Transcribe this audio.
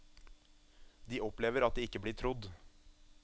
De opplever at de ikke blir trodd.